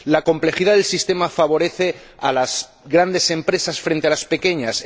La complejidad del sistema favorece a las grandes empresas frente a las pequeñas.